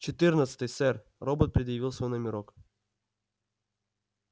четырнадцатый сэр робот предъявил свой номерок